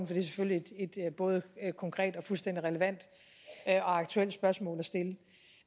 det er selvfølgelig et både konkret og fuldstændig relevant og aktuelt spørgsmål